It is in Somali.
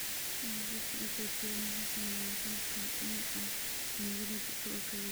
Hal-abuurka AKT1 wuxuu saameeyaa qayb ka mid ah unugyada jirka oo kaliya.